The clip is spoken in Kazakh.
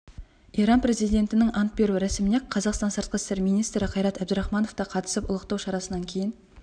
иран президентінің ант беру рәсіміне қазақстан сыртқы істер министрі қайрат әбдірахманов та қатысып ұлықтау шарасынан кейін